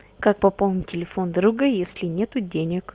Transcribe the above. как пополнить телефон друга если нету денег